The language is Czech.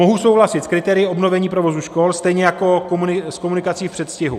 Mohu souhlasit s kritérii obnovení provozu škol stejně jako s komunikací v předstihu.